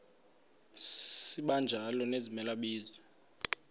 sibanjalo nezimela bizo